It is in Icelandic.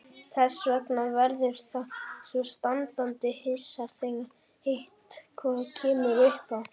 Þess vegna verður það svo standandi hissa þegar eitthvað kemur uppá.